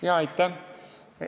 Aitäh!